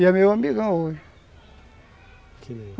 E é meu amigão hoje.